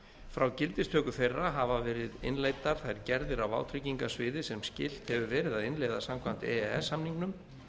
frá gildistöku þeirra hafa verið innleiddar þær gerðir á vátryggingasviði sem skylt hefur verið að innleiða samkvæmt e e s samningnum